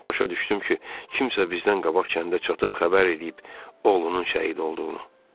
Başa düşdüm ki, kimsə bizdən qabaq kəndə çatıb xəbər eləyib oğlunun şəhid olduğunu.